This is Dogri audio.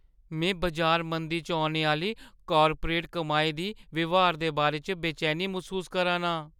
मैं बजार मंदी च औने आह्‌ली कार्पोरेट कमाई दी ब्हारा दे बारे च बेचैनी मसूस करा ना आं।